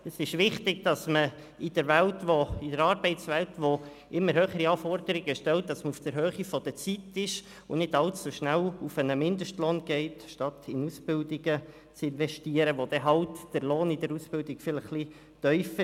Es ist wichtig, dass man in der Welt, in der Arbeitswelt, die immer höhere Anforderungen stellt, auf der Höhe der Zeit ist und nicht alles so schnell auf einen Mindestlohn abstellt, statt in Ausbildungen zu investieren, wo der Lohn dann halt während der Ausbildung vielleicht etwas tiefer ist.